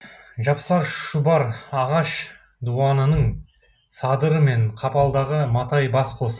жапсар шұбар ағаш дуанының садыры мен қапалдағы матай бас қос